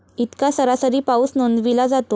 इतका सरासरी पाऊस नोंदविला जातो.